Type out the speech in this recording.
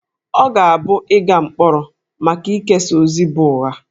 Ọ ga-abụ ịga mkpọrọ maka ikesa ozi bụ ụgha